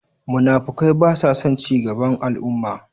Munafukai basason cigaban al'umma.